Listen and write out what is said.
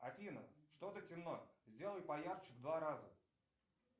афина что то темно сделай поярче в два раза